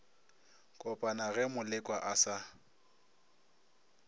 kopana ge molekwa a sa